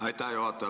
Aitäh juhataja!